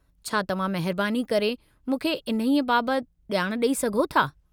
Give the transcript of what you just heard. छा तव्हां महिरबानी करे मूंखे इन्हीअ बाबति ॼाणु ॾेई सघो था?